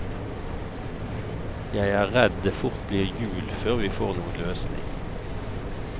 Jeg er redd det fort blir jul før vi får noen løsning.